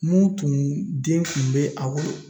Mun tun den tun be a bolo